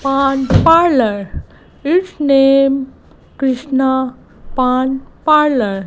pan parlour it's name krishna pan parlour.